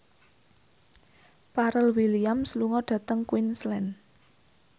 Pharrell Williams lunga dhateng Queensland